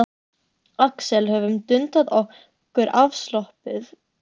Axel höfum dundað okkur afslöppuð hvort í sínu horni.